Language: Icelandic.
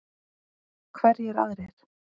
Hverjir aðrir?